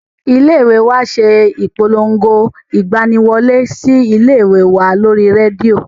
Ilé ìwé wa ṣe ìpolongo ìgbani wọlé sí ilé ìwé wa lórí rédíò